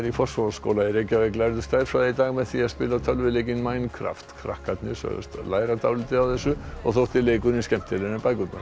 í Fossvogsskóla í Reykjavík lærðu stærðfræði í dag með því að spila tölvuleikinn Minecraft krakkarnir sögðust læra dálítið á þessu og þótti leikurinn skemmtilegri en bækurnar